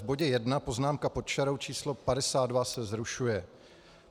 V bodě 1 poznámka pod čarou č. 52 se zrušuje.